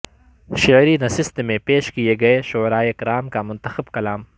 شعری نشست میں پیش کئے گئے شعرائے کرام کا منتخب کلام